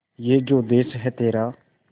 ये जो देस है तेरा